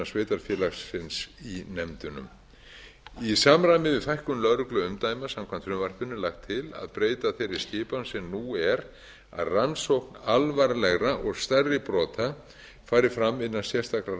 sveitarfélagsins í nefndunum í samræmi við fækkun lögregluumdæma samkvæmt frumvarpinu er lagt til að breyta þeirra skipan sem nú er að rannsókn alvarlegra og stærri brota fari fram innan sérstakra